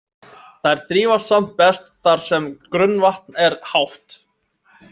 Þær þrífast samt best þar sem grunnvatn er hátt.